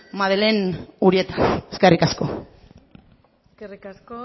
eskerrik askoeskerrik asko eskerrik asko